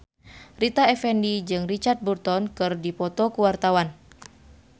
Rita Effendy jeung Richard Burton keur dipoto ku wartawan